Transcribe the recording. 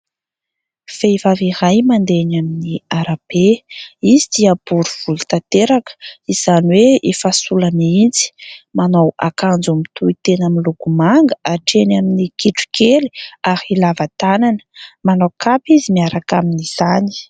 Vehivavy iray mandeha eny amin'ny arabe. Izy dia bory volo tanteraka izany hoe efa sola mihitsy. Manao akanjo mitohitena miloko manga hatreny amin'ny kitro kely ary lava tànana. Manao kapa izy miaraka amin'izany.